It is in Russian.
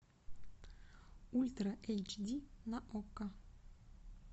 ультра эйч ди на окко